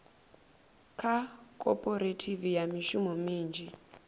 kha khophorethivi ya mishumo minzhi